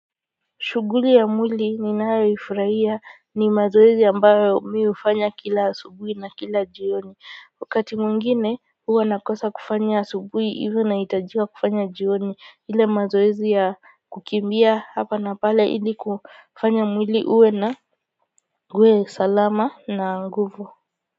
Shughuli ya mwili ninayoifurahia ni mazoezi ambayo mi hufanya kila asubuhi na kila jioni. Wakati mwingine huwa nakosa kufanya asubuhi hivyo nahitajika kufanya jioni ile mazoezi ya kukimbia hapa na pale ili kufanya mwili uwe na uwe salama na nguvu.